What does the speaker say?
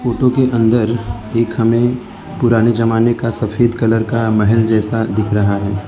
photo के अंदर एक हमे पुराने जमाने का सफेद कलर का महल जैसा दिख रहा है